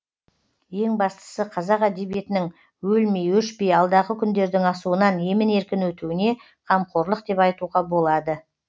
ең бастысы қазақ әдебиетінің өлмей өшпей алдағы күндердің асуынан емін еркін өтуіне қамқорлық деп айтуға болады